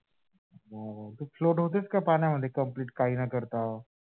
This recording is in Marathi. तू float होतेस का? पाण्यामध्ये complete काही न करता